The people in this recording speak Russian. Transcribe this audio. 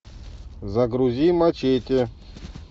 загрузи мачете